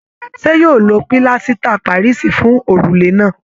Ṣe yóò lo pílásítà parisi fún òrùlé náà?